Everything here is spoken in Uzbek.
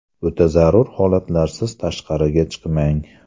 O‘ta zarur holatlarsiz tashqariga chiqmang.